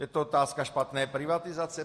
Je to otázka špatné privatizace?